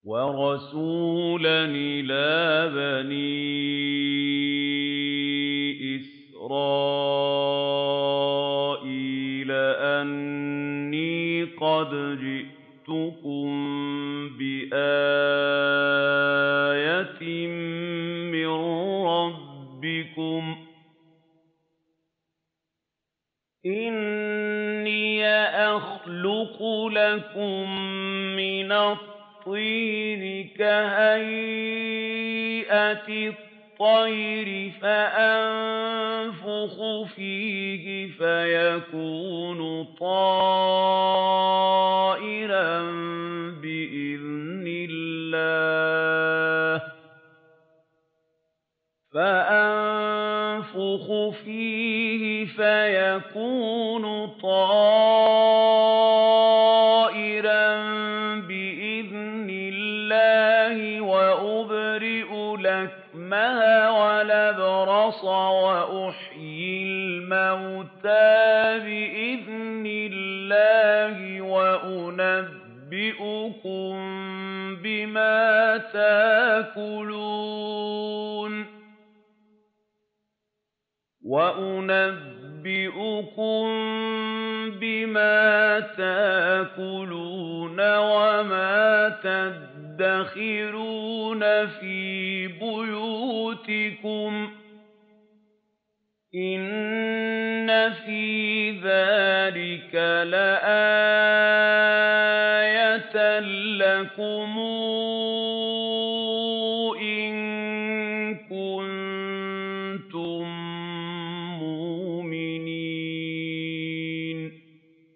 وَرَسُولًا إِلَىٰ بَنِي إِسْرَائِيلَ أَنِّي قَدْ جِئْتُكُم بِآيَةٍ مِّن رَّبِّكُمْ ۖ أَنِّي أَخْلُقُ لَكُم مِّنَ الطِّينِ كَهَيْئَةِ الطَّيْرِ فَأَنفُخُ فِيهِ فَيَكُونُ طَيْرًا بِإِذْنِ اللَّهِ ۖ وَأُبْرِئُ الْأَكْمَهَ وَالْأَبْرَصَ وَأُحْيِي الْمَوْتَىٰ بِإِذْنِ اللَّهِ ۖ وَأُنَبِّئُكُم بِمَا تَأْكُلُونَ وَمَا تَدَّخِرُونَ فِي بُيُوتِكُمْ ۚ إِنَّ فِي ذَٰلِكَ لَآيَةً لَّكُمْ إِن كُنتُم مُّؤْمِنِينَ